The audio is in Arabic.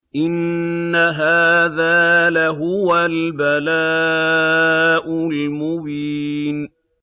إِنَّ هَٰذَا لَهُوَ الْبَلَاءُ الْمُبِينُ